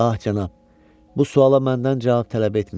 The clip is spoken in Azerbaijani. Ah, cənab, bu suala məndən cavab tələb etməyin.